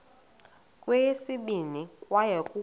kweyesibini kwaye kukho